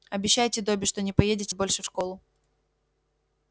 обещайте добби что не поедете больше в школу